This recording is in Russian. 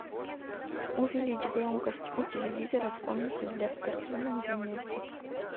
увеличь громкость у телевизора в комнате для спортивных занятий